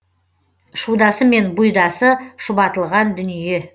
шудасы мен бұйдасы шұбатылған дүние